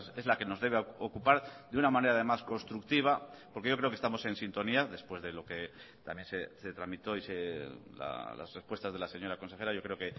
es la que nos debe ocupar de una manera además constructiva porque yo creo que estamos en sintonía después de lo que también se tramitó y las respuestas de la señora consejera yo creo